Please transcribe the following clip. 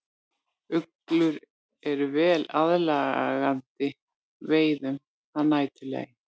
Uglur eru vel aðlagaðar veiðum að næturlagi.